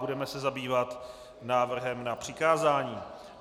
Budeme se zabývat návrhem na přikázání.